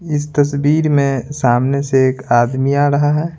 इस तस्वीर में सामने से एक आदमी आ रहा है।